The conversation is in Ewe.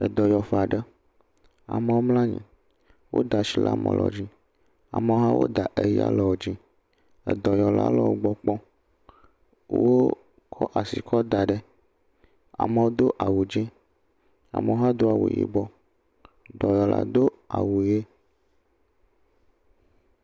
Edɔyɔƒe aɖe. Amewo mlɔ anyi. Woda shi le ame ɖewo dzi, ame lewo hã woda eya le wo dzi. Edɔyɔla le wogbɔ kpɔm. wooo kɔ asi kɔ da ɖe. Amewo do awu dzɛ̃, amewo hã do awu yibɔ. Dɔyɔla do awu ʋi.